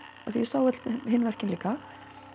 af því ég sá öll hin verkin líka